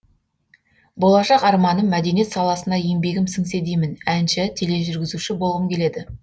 болашақ арманым мәдениет саласына еңбегім сіңсе деймін әнші тележүргізуші болғым келеді